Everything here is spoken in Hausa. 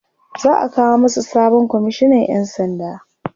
za'a kawo masu sabon komishinan ƴan sanda